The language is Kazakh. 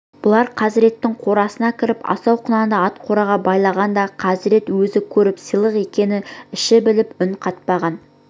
бұлар хазіреттің қорасына кіріп асау құнанды ат қораға байлағанда хазірет өзі көріп сыйлық екенін іші біліп үн қатпаған